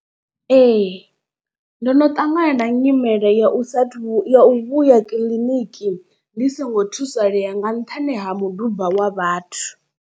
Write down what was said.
Ee ndono ṱangana na nyimele ya u sa athu u vhuya kiḽiniki ndi songo thusalea nga nṱhani ha muduba wa vhathu.